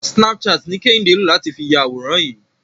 Snapchat ni Kẹ́hìndé lò láti fi ya àwòrán yìí.